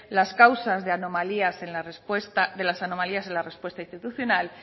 las causas de las anomalías en la respuesta institucional